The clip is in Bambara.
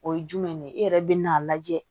O ye jumɛn ye e yɛrɛ bɛ n'a lajɛ